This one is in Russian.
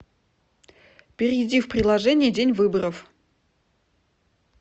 перейди в приложение день выборов